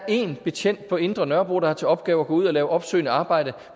én betjent på indre nørrebro der har til opgave at gå ud og lave opsøgende arbejde